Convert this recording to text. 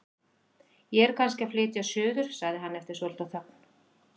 Ég er kannski að flytja suður- sagði hann eftir svolitla þögn.